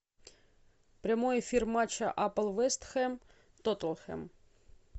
прямой эфир матча апл вест хэм тоттенхэм